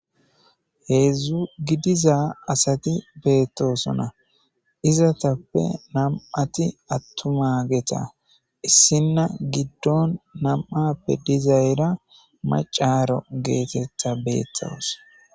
heedzdzu gidiza asati beettosona izatappe nam7ati attuma geta issinna giddon nam7appe dizayra macaro geetetta beettos